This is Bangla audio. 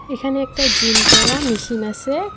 এখানে একটা জিম করা মেশিন আসে।